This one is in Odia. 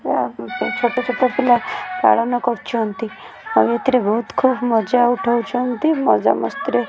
ଛୋଟ ଛୋଟ ପିଲା ପାଳନ କରୁଛନ୍ତି ଏଥିରେ ବହୁତ ଖୁବୁ ମଜା ଉଠାଉଛନ୍ତି ମଜା ମସ୍ତି ରେ --